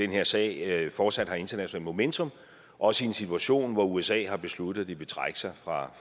her sag fortsat har internationalt momentum også i en situation hvor usa har besluttet at de vil trække sig fra